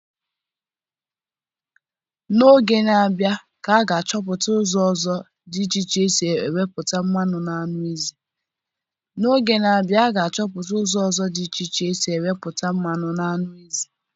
N'oge na abịa a ga achọpụta ụzọ ọzọ dị iche iche esi enweputa mmanụ na anụ ezi